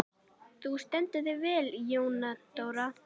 Þú stendur þig vel, Jóndóra!